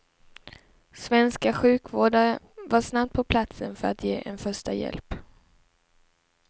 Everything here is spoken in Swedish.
Svenska sjukvårdare var snabbt på platsen för att ge en första hjälp.